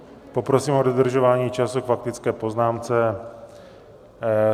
Poprosím o dodržování času k faktické poznámce.